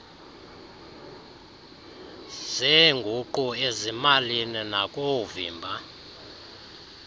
zeenguqu ezimalini nakoovimba